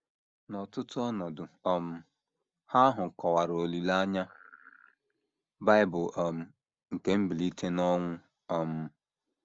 N’ọtụtụ ọnọdụ um Ha ahụ kọwara olileanya Bible um nke mbilite n’ọnwụ um.